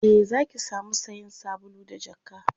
e Zaki samu sayan sabulu da jakka